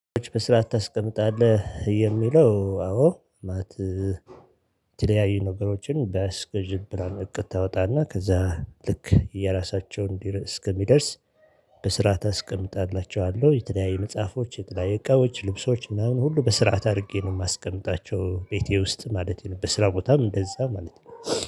በስርዓት ታስቀምጣለህ የሚለው አዎ ማለት የተለያዩ ነገሮችን በስክዥብራን እቅድ ታወጣና ከዛ ልክ የራሳቸውን እስኪደርስ። በስርዓት አስቀምጥላቸዋለሁ፤ የተለያየ መጽሐፎች የተለያየ እቃዎች ልብሶች ምናምን ሁሉ በስርዓት አድርጌ ነው የማስቀምጣቸው ቤቴ ውስጥ ማለት ነው። በስራ ቦታም እንደዛ ማለት ነው